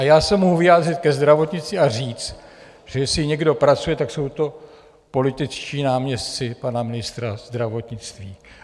A já se mohu vyjádřit ke zdravotnictví a říct, že jestli někdo pracuje, tak jsou to političtí náměstci pana ministra zdravotnictví.